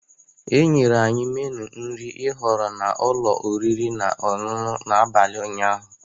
E nyere anyị meenụ nri ihọrọ na ụlọ oriri na ọṅụṅụ n'abalị ụnyaahụ.